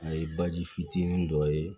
A ye baji fitinin dɔ ye